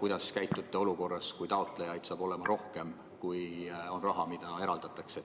kuidas te käitute olukorras, kui taotlejaid saab olema rohkem, kui on raha, mis on eraldatud.